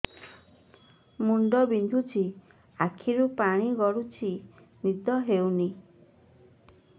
ମୁଣ୍ଡ ବିନ୍ଧୁଛି ଆଖିରୁ ପାଣି ଗଡୁଛି ନିଦ ହେଉନାହିଁ